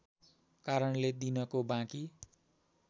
कारणले दिनको बाँकी